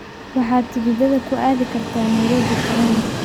Waxaad tikidhada ku aadi kartaa nairobi tareen